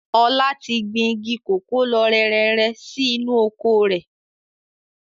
Ọlá tí gbìn igi kòkó lọ rẹrẹrẹ sì inú oko rẹ̀